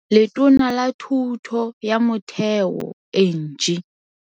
Letona la Thuto ya Motheo Angie.